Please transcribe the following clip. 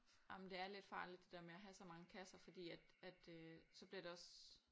Jamen det er lidt farligt det der med at have så mange kasser fordi at at øh så bliver det også